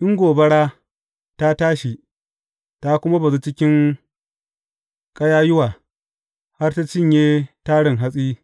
In gobara ta tashi, ta kuma bazu cikin ƙayayyuwa, har ta cinye tarin hatsi,